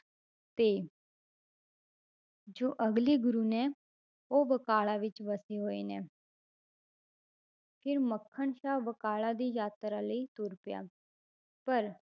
ਤੇ ਜੋ ਅਗਲੇ ਗੁਰੂ ਨੇ ਉਹ ਬਕਾਲਾ ਵਿੱਚ ਵਸੇ ਹੋਏ ਨੇ ਫਿਰ ਮੱਖਣ ਸ਼ਾਹ ਬਕਾਲਾ ਦੀ ਯਾਤਰਾ ਲਈ ਤੁਰ ਪਿਆ ਪਰ